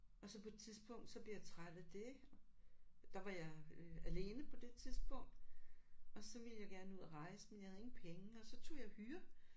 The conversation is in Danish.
Og så på et tidspunkt så blev jeg træt af det. Der var jeg øh alene på det tidspunkt og så ville jeg gerne ud og rejse men jeg havde ingen penge og så tog jeg hyre